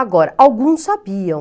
Agora, alguns sabiam.